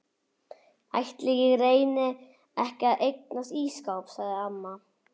Ætli ég reyni ekki að eignast ísskáp sagði amma.